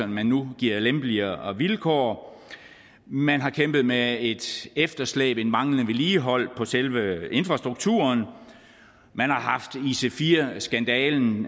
man nu giver lempeligere vilkår man har kæmpet med et efterslæb og manglende vedligeholdelse på selve infrastrukturen man har haft ic4 skandalen